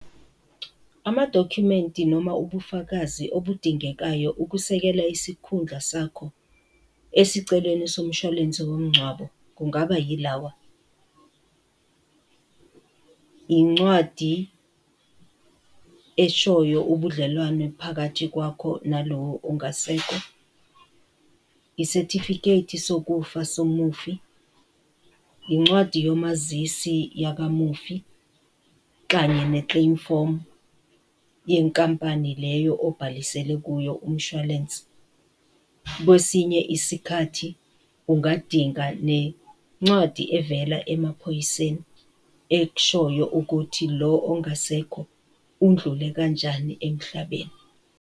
Amadokhumenti noma ubufakazi obudingekayo ukusekela isikhundla sakho esiceleni somshwalense womngcwabo kungaba yilawa, incwadi eshoyo ubudlelwano phakathi kwakho na lowo ongasekho, i-certificate sokufa somufi, incwadi yomazisi yakamufi, kanye ne-claim form yenkampani leyo obhalisele kuyo umshwalense. Kwesinye isikhathi ungadinga nencwadi evela emaphoyiseni, ekushoyo ukuthi lo ongasekho udlule kanjani emhlabeni.